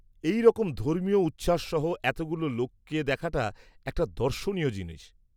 -এই রকম ধর্মীয় উচ্ছ্বাস সহ এতগুলো লোককে দেখাটা একটা দর্শনীয় জিনিস।